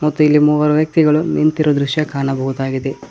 ಮತ್ತೆ ಇಲ್ಲಿ ಮೂವರು ವ್ಯಕ್ತಿಗಳು ನಿಂತಿರುವ ದೃಶ್ಯ ಕಾಣಬಹುದಾಗಿದೆ.